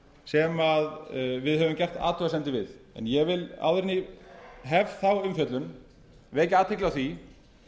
sem við höfum gert athugasemdir við en ég vil áður en ég hef þá umfjöllun vekja athygli á því